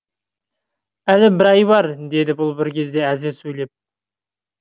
әлі бір ай бар деді бұл бір кезде әзер сөйлеп